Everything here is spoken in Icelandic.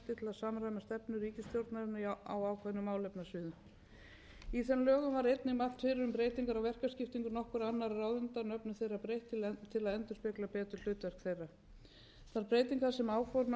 ríkisstjórnarinnar á ákveðnum málefnasviðum í þeim lögum var einnig mælt fyrir um verkaskiptingu nokkurra annarra ráðuneyta og nöfnum þeirra breytt til að endurspegla betur hlutverk þeirra þær breytingar sem áformaðar eru í þessu frumvarpi eru